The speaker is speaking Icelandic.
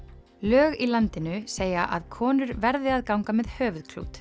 lög í landinu segja að konur verði að ganga með höfuðklút